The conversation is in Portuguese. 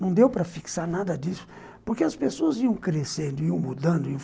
Não deu para fixar nada disso, porque as pessoas iam crescendo, iam mudando.